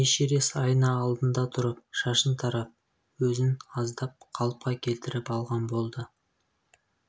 эшерест айна алдында тұрып шашын тарап өзін аздап қалыпқа келтіріп алған болды